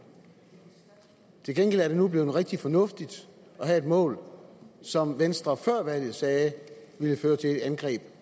til gengæld er det nu blevet rigtig fornuftigt at have et mål som venstre før valget sagde ville føre til et angreb